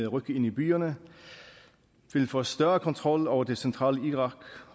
ryk ind i byerne vil få større kontrol over det centrale irak